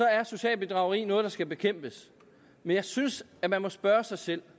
er socialt bedrageri noget der skal bekæmpes men jeg synes at man må spørge sig selv